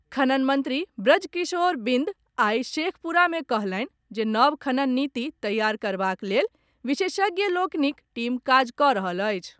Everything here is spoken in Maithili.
खनन मंत्री ब्रजकिशोर बिंद आइ शेखपुरा मे कहलनि जे नव खनन नीति तैयार करबाक लेल विशेषज्ञ लोकनिक टीम काज कऽ रहल अछि।